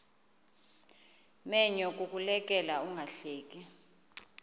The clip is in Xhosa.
menyo kukuleka ungahleki